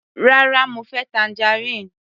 Rárá, mo fẹ́ tangerine.